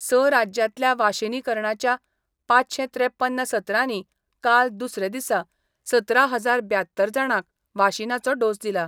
स राज्यांतल्या वाशीनीकरणाच्या पाचशे त्रेपन्न सत्रांनी काल दुसरे दिसा सतरा हजार ब्यात्तर जाणांक वाशीनाचो डोस दिला.